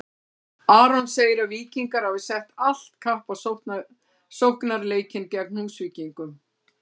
Aron segir að Víkingar hafi sett allt kapp á sóknarleikinn gegn Húsvíkingum.